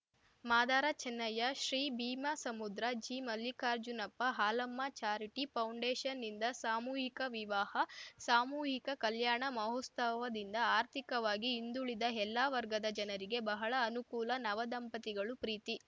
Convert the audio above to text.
Madara Channayya Shri Bheemasamudra G Mallikarjunappa Halamma charity ಫೌಂಡೇಷನ್‌ನಿಂದ ಸಾಮೂಹಿಕ ವಿವಾಹ ಸಾಮೂಹಿಕ ಕಲ್ಯಾಣ ಮಹೋತ್ಸವದಿಂದ ಆರ್ಥಿಕವಾಗಿ ಹಿಂದುಳಿದ ಎಲ್ಲ ವರ್ಗದ ಜನರಿಗೆ ಬಹಳ ಅನುಕೂಲ ನವದಂಪತಿಗಳು ಪ್ರೀತಿ